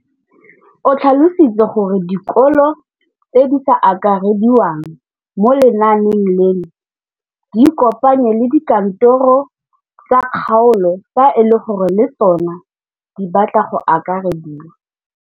O tlhalositse gore dikolo tse di sa akarediwang mo lenaaneng leno di ikopanye le dikantoro tsa kgaolo fa e le gore le tsona di batla go akarediwa.